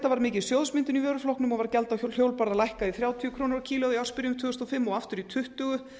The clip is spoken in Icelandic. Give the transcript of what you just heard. var gjaldið ákveðið þrjátíu og sex krónu kílógrömm í ársbyrjun tvö þúsund og fimm og aftur í tuttugu